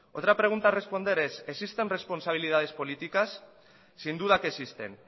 otra pregunta a responder es existen responsabilidades políticas sin duda que existen